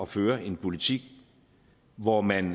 føre en politik hvor man